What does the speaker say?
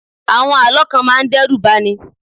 Àwọn Àlọ́ kan máa ń dẹ́rùbani.